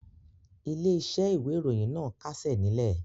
Ilé-iṣẹ́ ìwé-ìròyìn náà kásẹ̀ nílẹ̀.